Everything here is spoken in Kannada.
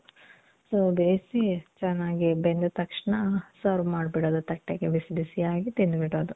so ಬೇಸಿ, ಚನ್ನಾಗಿ ಬೆಂದ ತಕ್ಷಣ serve ಮಾದ್ಬಿಡೋದು ತಟ್ಟೆಗೆ. ಬಿಸಿ ಬಿಸಿಯಾಗಿ ತಿಂದ್ಬಿಡೋದು.